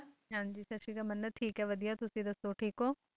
ਹਾਂ ਜੀ ਸਤਿ ਸ਼੍ਰੀ ਅਕਾਲ ਮੰਨਤ ਠੀਕ ਹੈ ਵਧੀਆ ਤੁਸੀਂ ਦੱਸੋ ਠੀਕ ਹੋਂ?